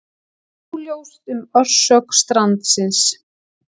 Óljóst um orsök strandsins